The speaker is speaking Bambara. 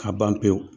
Ka ban pewu